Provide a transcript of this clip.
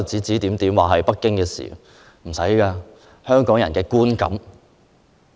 這是不用證據的，這是香港人的觀感。